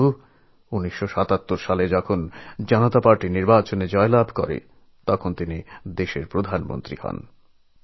কিন্তু ১৯৭৭এ যখন জনতা পার্টি ভোটে জেতে তখন তিনি আমাদের প্রধানমন্ত্রী হন